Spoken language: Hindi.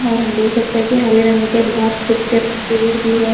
और हम देख सकते है कि हरे रंग के बहुत खुबसप्ते पेड़ भी है।